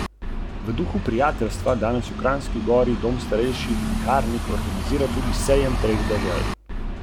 Obstaja pa tudi nekaj bolj osnovnega.